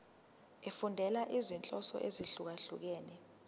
efundela izinhloso ezahlukehlukene